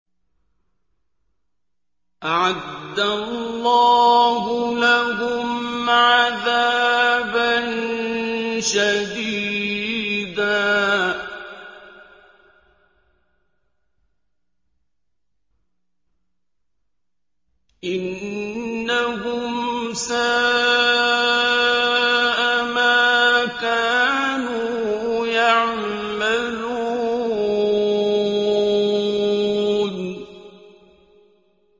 أَعَدَّ اللَّهُ لَهُمْ عَذَابًا شَدِيدًا ۖ إِنَّهُمْ سَاءَ مَا كَانُوا يَعْمَلُونَ